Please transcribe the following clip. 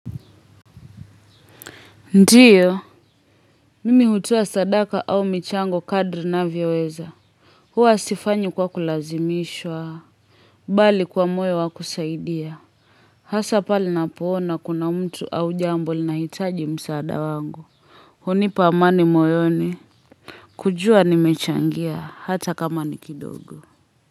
Ndiyo, mimi hutoa sadaka au michango kadri navyo weza. Huwa sifanyi kwa kulazimishwa. Bali kwa moyo wa kusaidia. Hasa pale napo ona kuna mtu au jambo linahitaji msaada wangu. Hunipa amani moyoni kujua nimechangia hata kama ni kidogo.